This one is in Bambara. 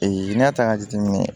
n'i y'a ta k'a jateminɛ